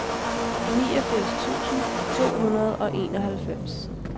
niogfirs tusind to hundrede og enoghalvfems